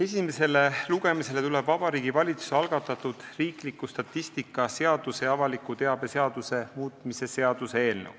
Esimesele lugemisele tuleb Vabariigi Valitsuse algatatud riikliku statistika seaduse ja avaliku teabe seaduse muutmise seaduse eelnõu.